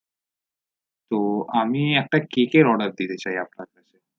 তো আমি একটা কেকের অর্ডার দিতে cake order চাই আপনার কাছে